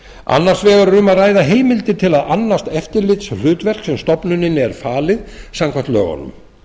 annars vegar er um að ræða heimildir til að annast eftirlitshlutverk sem stofnuninni er falið samkvæmt lögunum